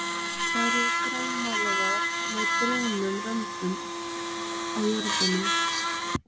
Þær eru grænmálaðar með brúnum röndum á jöðrunum.